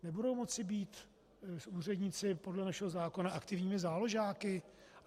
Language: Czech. Nebudou moci být úředníci podle našeho zákona aktivními záložáky?